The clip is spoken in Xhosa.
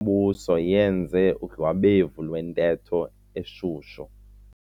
mbuso yenze udlwabevu lwentetho eshushu.